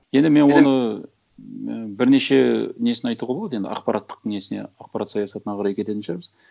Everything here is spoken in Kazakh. енді мен оны і бірнеше несін айтуға болады енді ақпараттық несіне ақпарат саясатына қарай кететін шығармыз